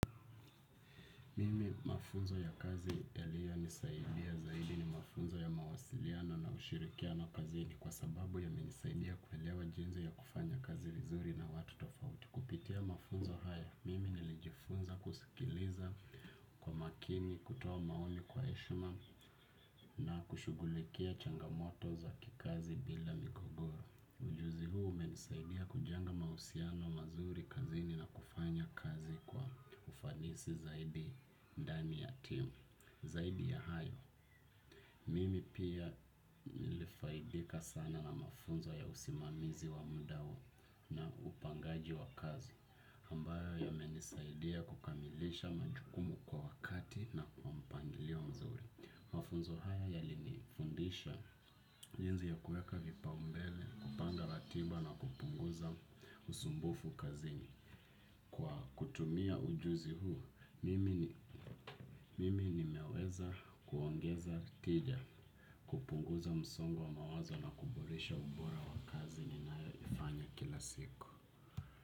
Mimi mafunzo ya kazi ya liyo nisaidia zaidi ni mafunzo ya mawasiliano na ushirikiano kazi ni kwa sababu ya menisaidia kuwelewa jenzi ya kufanya kazi vizuri na watu tofauti. Kupitia mafunzo haya, mimi nilijifunza kusikiliza kwa makini, kutoa maoni kwa eshma na kushugulikia changamoto za kikazi bila mikogoro. Ujuzi huu umenisaidia kujenga mausiano mazuri kazini na kufanya kazi kwa ufanisi zaidi dami ya team. Zaidi ya hayo, mimi pia nilifaidika sana na mafunzo ya usimamizi wa muda huo na upangaji wa kazi. Ambayo ya umenisaidia kukamilisha majukumu kwa wakati na kwa mpangilio mzuri. Mafunzo haya yalini fundisha jinzi ya kuweka vipa umbele, kupanga latiba na kupunguza usumbufu kazini. Kwa kutumia ujuzi huu, mimi ni meweza kuongeza tija kupunguza msongo wa mawazo na kuboresha ubora wa kazini na yoifanya kila siku.